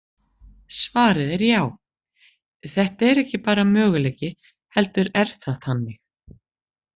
Svarið er já, þetta er ekki bara möguleiki, heldur er það þannig!